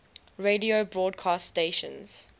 radio broadcast stations